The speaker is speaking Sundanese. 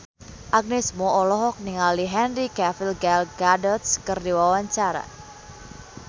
Agnes Mo olohok ningali Henry Cavill Gal Gadot keur diwawancara